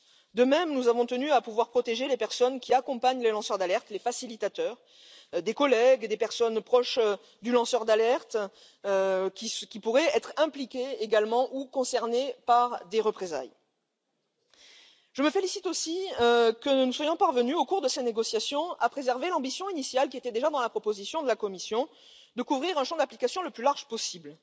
De même, nous avons tenu à pouvoir protéger les personnes qui accompagnent les lanceurs d'alerte les facilitateurs, les collègues, les proches du lanceur d'alerte qui pourraient être impliquées également ou concernées par des représailles. Je me félicite aussi que nous soyons parvenus au cours de ces négociations à préserver l'ambition initiale, qui était déjà dans la proposition de la Commission, de couvrir un champ d'application le plus large possible,